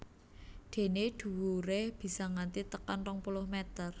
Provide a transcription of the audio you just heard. Dené dhuwuré bisa nganti tekan rong puluh mèter